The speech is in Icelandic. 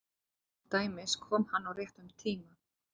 Til dæmis: Kom hann á réttum tíma?